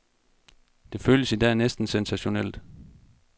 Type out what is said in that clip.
Det føles i dag næsten sensationelt.